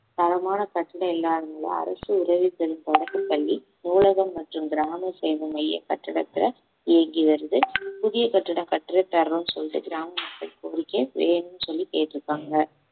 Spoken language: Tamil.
தரமான பிரச்சனை இல்லாதனால அரசு உதவி பெரும் தொடக்கப்பள்ளி நூலகம் மற்றும் கிராம சேவை மைய கட்டிடத்தை இயங்கி வருது புதிய கட்டிட கட்டிடத்தை தரணும்னு சொல்லிட்டு கிராம மக்கள் கோரிக்கை வேணும்னு சொல்லி கேட்டு இருக்காங்க